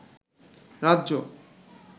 রাজ্য